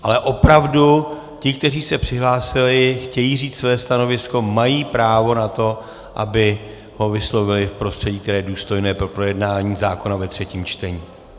Ale opravdu ti, kteří se přihlásili, chtějí říct své stanovisko, mají právo na to, aby ho vyslovili v prostředí, které je důstojné pro projednání zákona ve třetím čtení.